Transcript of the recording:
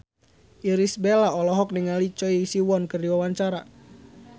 Irish Bella olohok ningali Choi Siwon keur diwawancara